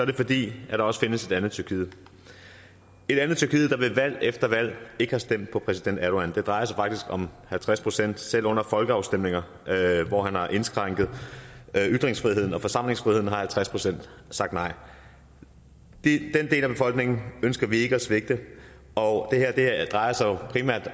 det fordi der også findes et andet tyrkiet et andet tyrkiet der ved valg efter valg ikke har stemt på præsident erdogan det drejer sig faktisk om halvtreds procent selv under folkeafstemninger hvor han har indskrænket ytringsfriheden og forsamlingsfriheden har halvtreds procent sagt nej den del af befolkningen ønsker vi ikke at svigte og det her drejer sig jo primært